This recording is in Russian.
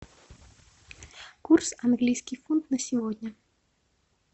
курс английский фунт на сегодня